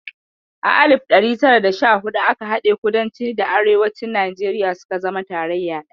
A alif ɗari tara da sha hudu aka haɗe kudanci da Arewacin Najeriya suka zama tarayya ɗaya